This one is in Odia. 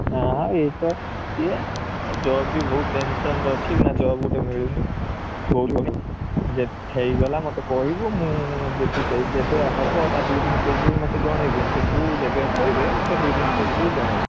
ନାଇଁ ଏଇ ତ, ଇଏ job ବି ବହୁତ tension ରେ ଅଛି ଏଇଖିନା job ଗୋଟେ ମିଳୁନି ଯଦି ହେଇଗଲା ମତେ କହିବୁ ମୁଁ ଯେବେ ହବ ତା ଦି ଦିନ ପୂର୍ବରୁ ମତେ ଜଣେଇବୁ interview ଯେବେ କହିବେ ମତେ ଦି ଦିନ ପୂର୍ବରୁ ଜଣେଇବୁ ।